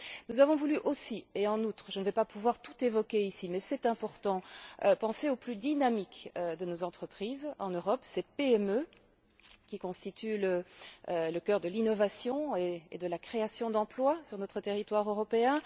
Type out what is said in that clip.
Nous avons voulu aussi et en outre je ne vais pas pouvoir tout évoquer ici mais c'est important penser aux plus dynamiques de nos entreprises en Europe, ces PME qui constituent le cœur de l'innovation et de la création d'emplois sur notre territoire européen.